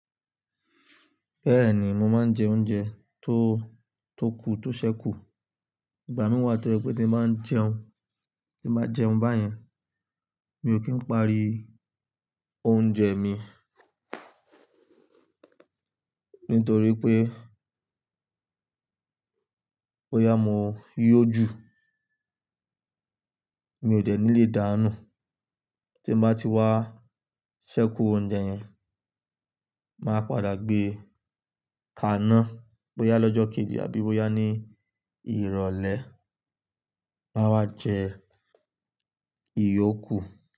Bẹ́ẹ̀ni, mo máa ń jẹ oúnjẹ tó, tóku tó ṣẹ́kù. Ìgbà mí wá tó jẹ pé tí báa ń jẹun, tí báa jẹun báyẹn mi ò kí ń pari oúnjẹ mi. Nítorí pé, bóyá mo yóò jù mi ò dẹ́ ní lè dáná. Tí bá ti wá ṣẹ́kù oúnjẹ yẹn, màá padà gbé káná bóyá lọ́jọ́ kejì àbí bóyá ní ìrọ̀lẹ́ bá wá jẹ iyokù.